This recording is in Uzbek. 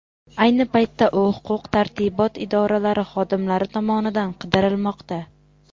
Ayni paytda u huquq-tartibot idoralari xodimlari tomonidan qidirilmoqda.